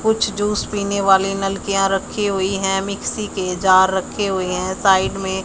कुछ जूस पीने वाले नलकियां रखी हुई है मिक्सी के जार रखे हुए हैं साइड में --